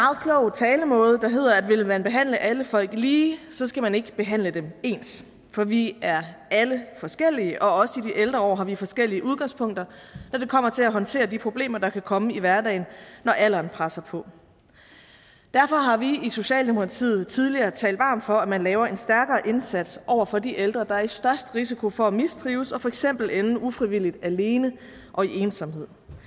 talemåde der lyder at vil man behandle alle folk lige så skal man ikke behandle dem ens for vi er alle forskellige og også i de ældre år har vi forskellige udgangspunkter når det kommer til at håndtere de problemer der kan komme i hverdagen når alderen presser på derfor har vi i socialdemokratiet tidligere talt varmt for at man laver en stærkere indsats over for de ældre der er i størst risiko for at mistrives og for eksempel ende ufrivilligt alene og i ensomhed